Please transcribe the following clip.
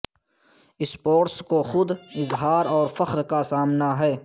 sports کو خود اظہار اور فخر کا سامنا ہے